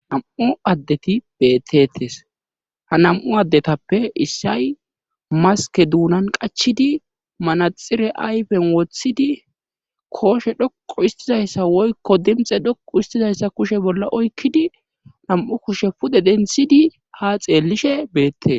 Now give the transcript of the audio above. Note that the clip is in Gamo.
nam'u addeti bettettes ha nam'u addetappe issay maske duunan qachidi manaxire ayfen woththidi kooshe dhoqu istizayssa woykko dimxe dhoqu istizayssa kushe bolla oykkidi nam7u kushe pude denthidi ha xeellishe beette.